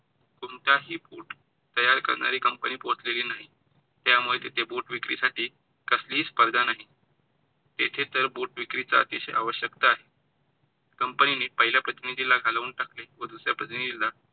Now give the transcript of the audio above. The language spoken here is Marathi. कोणताही बुट तयार करणारी company पोहोचलेली नाही, त्यामुळे तेथे बूट विक्री साठी कसली ही स्पर्धा नाही. येथे तर बूट विक्रीची अतिशय आवश्यकता आहे. Company ने पहिल्या प्रतिनिधी ला घालवून टाकले व दुसऱ्या प्रतिनिधी ला